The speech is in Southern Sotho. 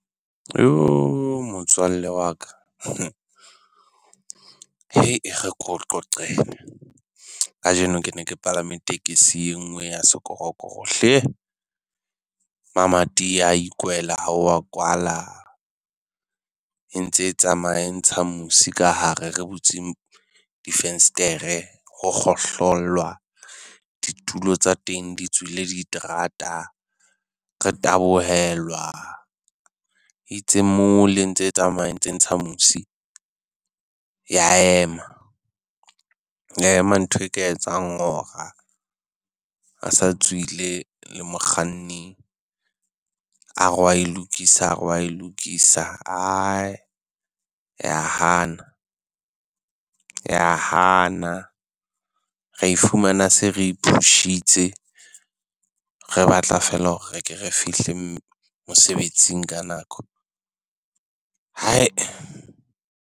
Motswalle wa ka, e re ke o qoqele kajeno Ke ne ke palame tekesi enngwe ya sekorokoro hle. Mamati a ikwela ha o wa kwala e ntse e tsamaya e ntsha musi ka hare re butse difenstere ho kgohlolwa ditulo tsa teng di tswile diterata. Re tabohelwa e itse mole e ntse tsamaya e ntse ntsha mosi, ya ema ya ema ntho e ka etsang hora. Re sa tswile le mokganni a re wa e lokisa a re wa e lokisa ae ya hana ya hana. Re e fumana se re push-itse, re batla feela hore re ke re fihle mosebetsing ka nako hai.